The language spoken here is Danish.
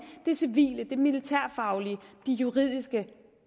det civile det militærfaglige de juridiske